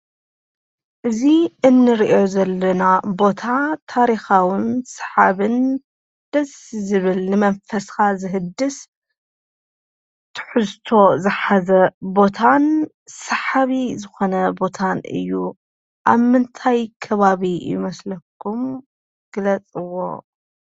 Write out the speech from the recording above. እዚ እንሪኦ ዘለና ቦታ ታሪካዊን ሳሓብን ደስ ዝብል ንመንፈስካ ዘህድስ ትሕዝቶ ዝሓዘ ቦታን ሳሓቢ ዝኽዕነ ቦታ እዩ። አብ ምንታይ ከባቢ ይመስለኩም ግለፅዎ?